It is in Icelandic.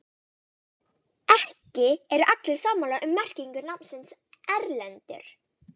Ekki eru allir sammála um merkingu nafnsins Erlendur.